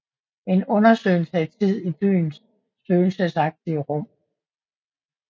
En undersøgelse af tid i byens spøgelsesagtige rum